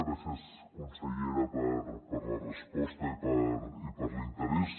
gràcies consellera per la resposta i per l’interès